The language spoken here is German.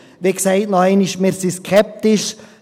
Wie gesagt, noch einmal: Wir sind skeptisch.